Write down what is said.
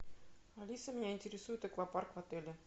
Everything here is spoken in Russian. алиса меня интересует аквапарк в отеле